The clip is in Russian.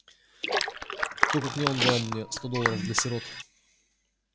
кто как не он дал мне сто долларов для сирот